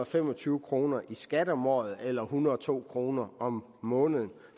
fem og tyve kroner i skat om året eller en hundrede og to kroner om måneden